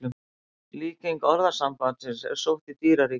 Líking orðasambandsins er sótt í dýraríkið.